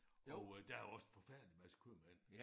Og øh der jo også en forfærdelig masse købmænd